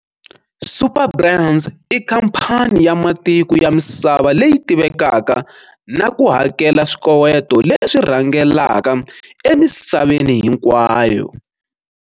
Superbrands i khamphani ya matiko ya misava leyi tivekaka na ku hakela swikoweto leswi rhangelaka emisaveni hinkwayo.